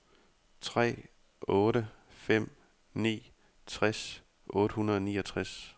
tre otte fem ni tres otte hundrede og niogtres